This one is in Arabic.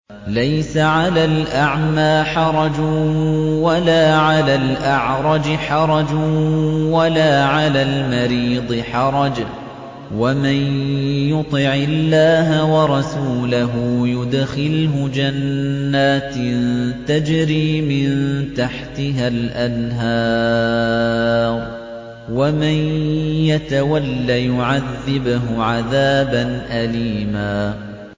لَّيْسَ عَلَى الْأَعْمَىٰ حَرَجٌ وَلَا عَلَى الْأَعْرَجِ حَرَجٌ وَلَا عَلَى الْمَرِيضِ حَرَجٌ ۗ وَمَن يُطِعِ اللَّهَ وَرَسُولَهُ يُدْخِلْهُ جَنَّاتٍ تَجْرِي مِن تَحْتِهَا الْأَنْهَارُ ۖ وَمَن يَتَوَلَّ يُعَذِّبْهُ عَذَابًا أَلِيمًا